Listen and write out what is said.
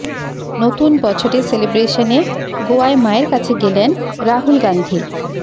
নতুন বছরের সেলিব্রেশনে গোয়ায় মায়ের কাছে গেলেন রাহুল গান্ধী